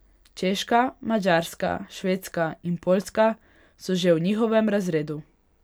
Češka, Madžarska, Švedska in Poljska so že v njihovem razredu.